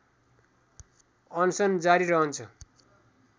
अनसन जारी रहन्छ